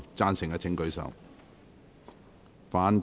贊成的請舉手。